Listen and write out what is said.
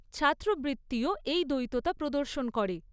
ছাত্রবৃত্তিও এই দ্বৈততা প্রদর্শন করে।